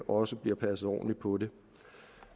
også bliver passet ordentligt på det